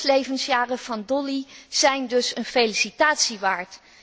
De zes levensjaren van Dolly zijn dus een felicitatie waard.